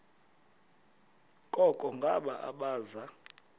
koko ngabo abaza